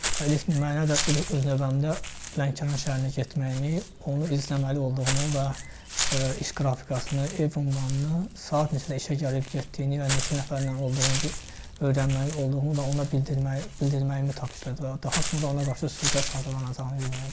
Elə öz növbəmdə Lənkəran şəhərində getməyimi, onu izləməli olduğumu və iş qrafikasını, ev ünvanını, saat neçədə işə gəlib getdiyini və neçə nəfərlə olduğunu, öyrənməli olduğumu və ona bildirməyimi tapşırdı və daha sonra ona qarşı sui-qəsd hazırlanacağını bildirdi.